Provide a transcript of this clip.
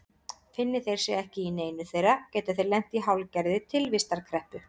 Finni þeir sig ekki í neinu þeirra geta þeir lent í hálfgerðri tilvistarkreppu.